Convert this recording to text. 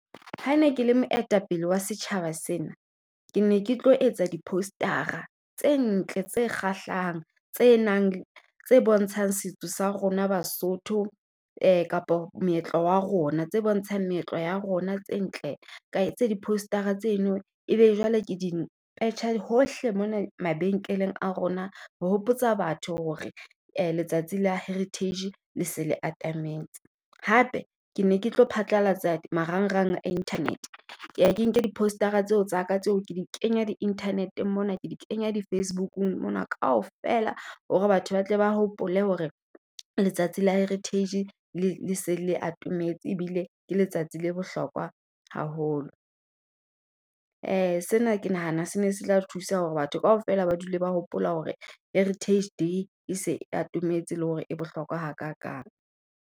Ha ne ke le moetapele wa setjhaba sena, ke ne ketlo etsa di poster-a tse ntle tse kgahlang. Tse nang tse bontshang setso sa rona baSotho kapo moetlo wa rona. Tse bontshang meetlo ya rona tse ntle ka etsa di poster-a tseno ebe jwale ke di petjha hohle mona mabenkeleng a rona. Re hopotsa batho hore letsatsi la heritage le se le atametse. Hape ke ne ketlo phatlalatsa marangrang a internet. Ke ya ke nke di-poster-a tseo tsa ka tseo ke di kenya di-internet mona, ke di kenya di Facebook-ung mona kaofela. Hore batho ba tle ba hopole hore letsatsi la heritage le le se le atometse. Ebile ke letsatsi le bohlokwa haholo, sena ke nahana se ne se tla thusa hore batho kaofela ba dule ba hopola hore heritage day e se e atometse. Le hore e bohlokwa ha kakang.